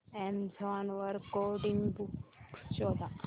Amazon वर coding books शोधा